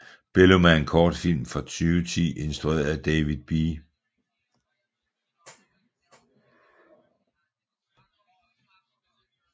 Bellum er en kortfilm fra 2010 instrueret af David B